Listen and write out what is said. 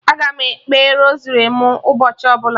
Aga m ekpe rosari mụ ụbọchị ọbụla